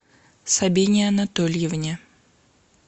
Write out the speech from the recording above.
сабине анатольевне